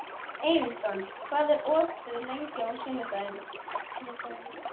Ernestó, hvað er opið lengi á sunnudaginn?